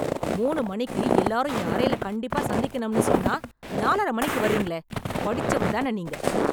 மூணு மணிக்கு எல்லாரும் என் அறைல கண்டிப்பா சந்திக்கணும்னு சொன்னா, நாலரை மணிக்கு வர்றீங்களே, படிச்சவர் தான நீங்க?